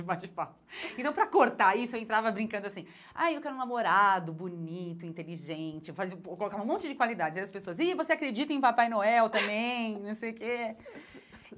Então, para cortar isso, eu entrava brincando assim, ai eu quero um namorado bonito, inteligente, eu colocava um monte de qualidades, aí as pessoas diziam, e você acredita em Papai Noel também? não sei o que